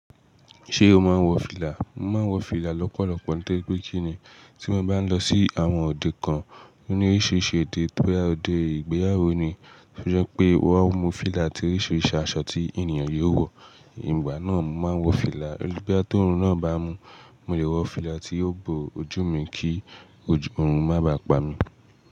Ṣé o máa ń wọ fìlà? Mo máa ń wọ fìlà lọ́pọ̀lọpọ̀. Nítorí pé kí ni? Tí mo bá ń lọ sí àwọn òde kan ní oríṣiríṣi òde, bo ya òde ìgbéyàwó ni. Bo ya pé won mu fìlà àti oríṣiríṣi aṣọ tí ènìyàn le wọ̀. Ìgbà náà mo máa ń wọ fìlà. Bí a to orun náà bá mú, mo lè wọ fìlà tí yóò bo ojú mi kí òrùn má bà pa mi.